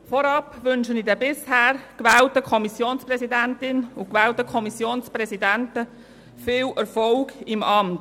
Vorab wünsche ich der bisher gewählten Kommissionspräsidentin und den gewählten Kommissionspräsidenten viel Erfolg im Amt.